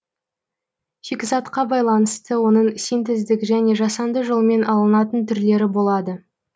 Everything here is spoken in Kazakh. шикізатқа байланысты оның синтездік және жасанды жолмен алынатын түрлері болады